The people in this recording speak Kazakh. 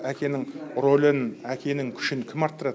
әкенің рөлін әкенің күшін кім арттырады